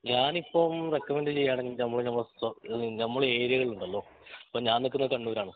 ഞാനിപ്പൊമ്മ് recommend ചെയ്യണെങ്കി ഞമ്മള് ഞമ്മളെ ഞമ്മളെ ഏരിയകൾ ഉണ്ടല്ലോ ഇപ്പൊ ഞാൻ നിക്കുന്നെ കണ്ണൂർ ആണ്